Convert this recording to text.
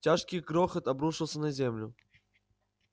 тяжкий грохот обрушился на землю